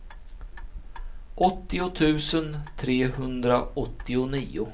åttio tusen trehundraåttionio